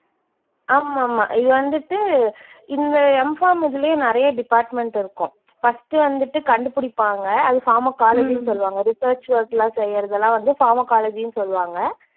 ஆமாமா இது வந்துட்டு இந்த Mpharm இதுலயே நிறைய department இருக்கும். first வந்துட்டு கண்டுபிடிப்பாங்க அதை pharmacology ன்னு சொல்லுவாங்க. research work எல்லாம் செய்யறதெல்லாம் வந்து pharmacology ன்னு சொல்லுவாங்க.